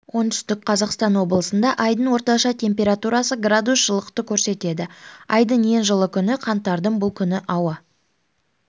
оңтүстік қазақстан облысында айдың орташа температурасы градус жылылықты көрсетеді айдың ең жылы күні қаңтардың бұл күні ауа